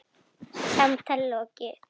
Samtali lokið.